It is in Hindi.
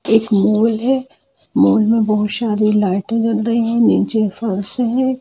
एक मॉल है मॉल मे बहुत सारी लाइटे जल रही है नीचे फर्श है।